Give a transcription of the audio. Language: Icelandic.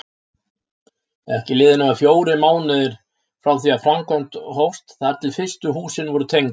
Ekki liðu nema fjórir mánuðir frá því framkvæmd hófst þar til fyrstu húsin voru tengd.